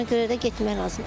Ona görə də getmək lazımdır.